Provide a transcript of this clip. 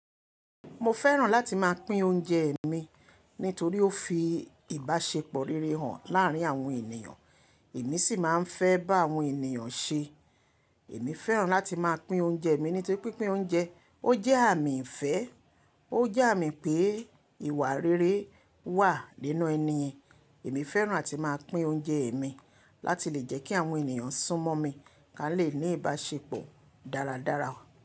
Mo fẹ́ràn láti máa pín oúnjẹ e mi nítorí ó fi ìbáṣepọ̀ rere hàn láárín àwọn ènìyàn. Èmi sì máa ń fẹ́ bá àwọn ènìyàn ṣe. Èmi fẹ́ràn láti máa pín oúnjẹ mi nítorí pín pin oúnjẹ ó jẹ́ àmì ìfẹ́. Ó jẹ́ àmì pé ìwà rere wà nínú ẹni yen. Èmi fẹ́ràn áti máa pín oúnjẹe mi láti lè jẹ́ kí àwọn ènìyàn sún mọ́ mi, ká lè ní ìbáṣepọ̀ dáradára.